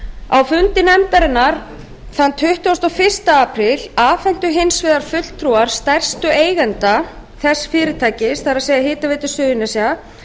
á fundi nefndarinnar tuttugasta og fyrsti apríl afhentu hins vegar fulltrúar stærstu eigenda þess fyrirtækis það er hitaveitu suðurnesja